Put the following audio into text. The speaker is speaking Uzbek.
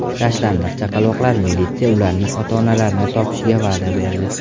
Tashlandiq chaqaloqlar: Militsiya ularning ota-onalarini topishga va’da berdi .